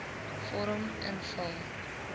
vorm invul